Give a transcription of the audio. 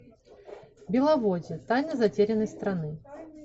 беловодье тайна затерянной страны